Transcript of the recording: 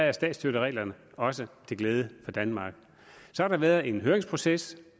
er statsstøttereglerne også til glæde for danmark så har der været en høringsproces